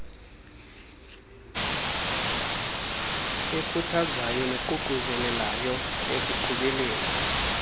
ekhuthazayo neququzelayo ekuqhubeleni